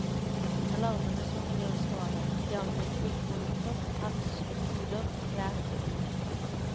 Det er larvene som kan gjøre skade, de angriper ullprodukter, pels, huder, fjær og dun.